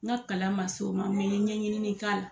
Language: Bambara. N ka kalan man se o ma ɲɛɲini k'a la.